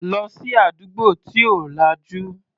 Lọ sí àdúgbò tí ò lajú.